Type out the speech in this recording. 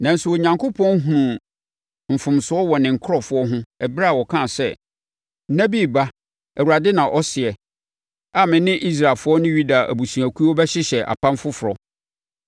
Nanso, Onyankopɔn hunuu mfomsoɔ wɔ ne nkurɔfoɔ ho ɛberɛ a ɔkaa sɛ, “Nna bi reba, Awurade na ɔseɛ, a me ne Israelfoɔ ne Yuda abusuakuo bɛhyehyɛ apam foforɔ.